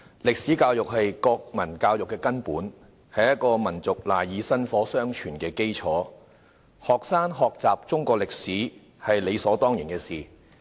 歷史教育是國民教育的根本，是一個民族賴以薪火相傳的基礎；學生學習中國歷史是理所當然的事。